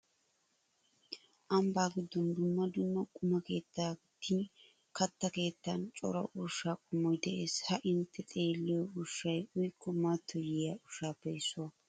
Ambbaa giddon dumma dumma quma keettan gidin katta keettan cora ushshaa qommoy de'ees. Ha intte xeelliyo ushshay uyikko mattoyiya ushshaappe issuwa.